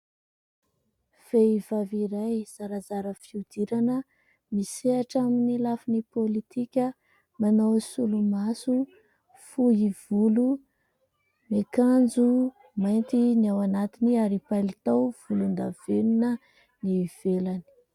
Vehivavy iray zarazara fihodirana misehatra amin'ny lafin'ny politika, manao solomaso, fohy volo, miakanjo mainty ny ao anatiny ary palitao volondavenona ny ivelany.